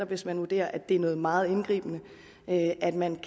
hvis man vurderer at det er noget meget indgribende da kan man